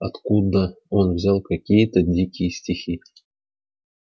откуда он взял какие-то дикие стихи